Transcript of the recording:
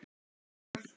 Og við hana.